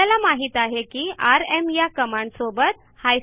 आपल्या माहित आहे की आरएम या कमांडसोबत आय